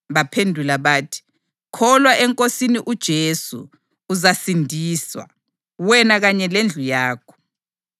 Baphendula bathi, “Kholwa eNkosini uJesu, uzasindiswa; wena kanye lendlu yakho.”